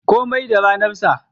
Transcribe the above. Komai da ranar sa.